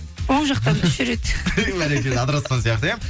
оң жақтан үш рет бәрекелді адыраспан сияқты иә